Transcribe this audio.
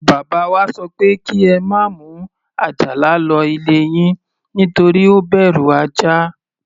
Bàbá wa sọ pé kí ẹ má mú Àjàlà lọ ilé yín, nítorí ó bẹ̀rù ajá.